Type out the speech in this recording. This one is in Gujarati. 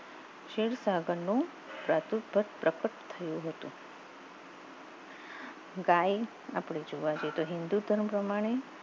સેર સાગર નું સાચુ પ્રગટ થયું હતું આપણે જોવા જઈએ તો હિંદુ ધર્મ પ્રમાણે